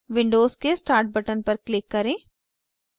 windows के start button पर click करें